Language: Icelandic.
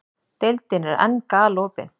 Deildin er enn galopin